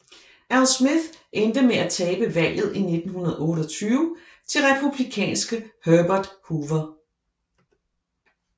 Al Smith endte med at tabe valget i 1928 til republikanske Herbert Hoover